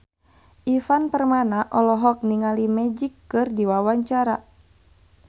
Ivan Permana olohok ningali Magic keur diwawancara